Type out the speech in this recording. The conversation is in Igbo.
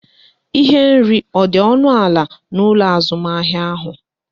Ihe nri ọ dị ọnụ ala n'ụlọ azụmahịa ahụ?